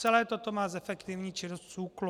Celé toto má zefektivnit činnost SÚKLu.